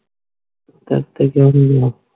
ਤੇਰੇ ਤੇ ਕਯੋ ਨਹੀਂ ਗਏ